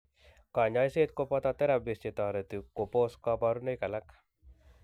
Kanyaiset koboto therapies chetoreti kobos kabarunoik alak